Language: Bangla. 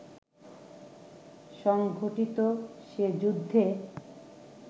সংঘটিত সে যুদ্ধে